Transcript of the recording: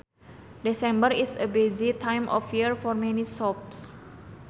December is a busy time of year for many shops